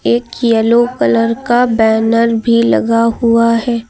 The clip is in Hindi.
एक येलो कलर का बैनर भी लगा हुआ है।